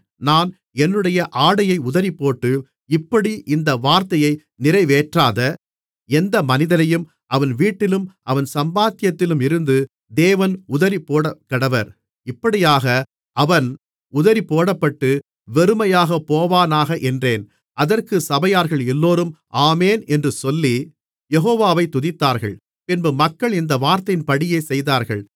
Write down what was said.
நான் என்னுடைய ஆடையை உதறிப்போட்டு இப்படி இந்த வார்த்தையை நிறைவேற்றாத எந்த மனிதனையும் அவன் வீட்டிலும் அவன் சம்பாத்தியத்திலும் இருந்து தேவன் உதறிப்போடக்கடவர் இப்படியாக அவன் உதறிப்போடப்பட்டு வெறுமையாகப் போவானாக என்றேன் அதற்குச் சபையார்கள் எல்லோரும் ஆமென் என்று சொல்லி யெகோவாவை துதித்தார்கள் பின்பு மக்கள் இந்த வார்த்தையின்படியே செய்தார்கள்